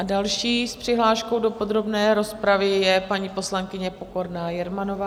A další s přihláškou do podrobné rozpravy je paní poslankyně Pokorná Jermanová.